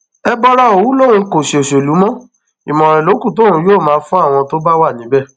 ẹbọra òwú lòun kò ṣòṣèlú mọ ìmọràn ló kù tóun yóò máa fún àwọn tó bá wà níbẹ